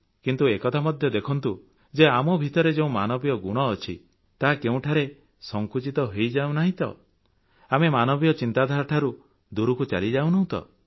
କିନ୍ତୁ ଏକଥା ମଧ୍ୟ ଦେଖନ୍ତୁ ଯେ ଆମ ଭିତରେ ଯେଉଁ ମାନବୀୟ ଗୁଣ ଅଛି ତାହା କେଉଁଠାରେ ସଂକୁଚିତ ହୋଇଯାଉନାହିଁ ତ ଆମେ ମାନବୀୟ ଚିନ୍ତାଧାରାଠାରୁ କେବେହେଲେ ଦୂରକୁ ଚାଲିଯାଇ ନାହୁଁ ତ